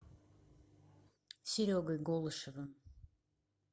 серегой голышевым